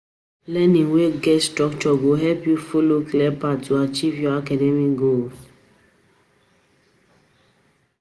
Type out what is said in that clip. Learning wey get structure go help you follow clear path to achieve your academic goals.